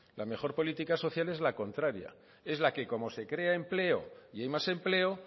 la mejor política social es la contraria es la que como se crea empleo y hay más empleo